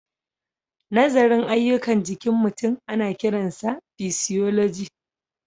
Nazarin ayyukan jikin mutum ana kiransa physiology.